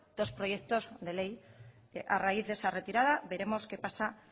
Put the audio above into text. dos proyectos de ley a raíz de esa retirada veremos qué pasa